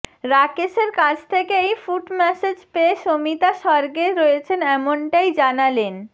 রাকেশের কাছ থেকে এই ফুট ম্যাসাজ পেয়ে শমিতা স্বর্গে রয়েছেন এমনটাই জানালেন